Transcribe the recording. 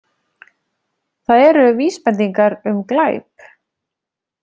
Það eru vísbendingar um glæp.